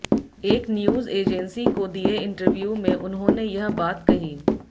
एक news agency को दिए इंटरव्यू में उन्होंने यह बात कही